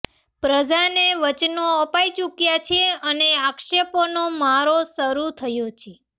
પ્રજાને વચનો અપાઈ ચૂક્યા છે અને આક્ષેપોનો મારો શરૂ થયો છે